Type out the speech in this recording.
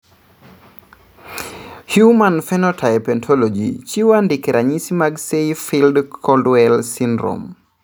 Human Phenotype Ontology chiwo andike ranyisi mag Say Field Coldwell syndrome.